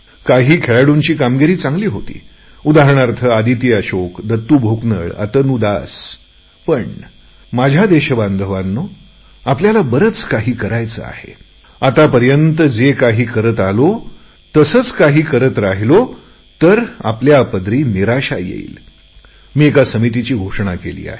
काही खेळाडूंची कामगिरी चांगली होती उदाहरणार्थ आदिती अशोक दत्तू भोकनळ अतनु दास माझ्या देशबांधवांनो आपल्याला बरेच काही करायचे आहे पण आतापर्यंत जे काही करत आलोत तसेच काही करत राहिलो तर पुन्हा आपल्या पदरी निराशा येईल मी एका समितीची घोषणा केली आहे